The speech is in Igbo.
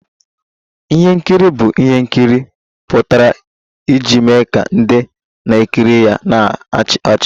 Ihe nkiri bụ ihe nkiri pụtara iji mee ka ndị na-ekiri ya na-achị ọchị